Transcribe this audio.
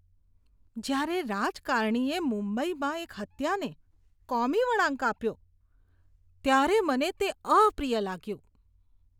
જ્યારે રાજકારણીએ મુંબઈમાં એક હત્યાને કોમી વળાંક આપ્યો ત્યારે મને તે અપ્રિય લાગ્યું.